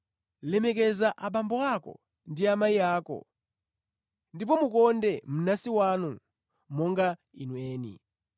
lemekeza abambo ako ndi amayi ako ndipo konda mnansi wako monga iwe mwini.”